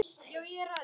Ólöf Eldjárn þýddi.